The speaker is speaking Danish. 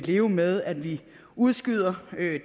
leve med at vi udskyder